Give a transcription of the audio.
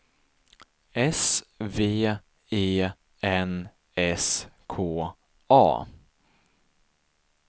S V E N S K A